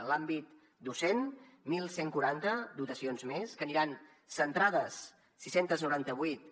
en l’àmbit docent onze quaranta dotacions més que aniran centrades sis cents i noranta vuit